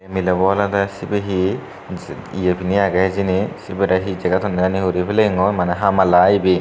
mile olode sibe hi je ye pini agey hijeni sibere hi jeget honne hi guri peleingo mane hamala aai ibe.